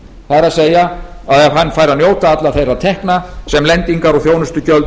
það er ef hann fær að njóta allra þeirra tekna sem lendingar og þjónustugjöld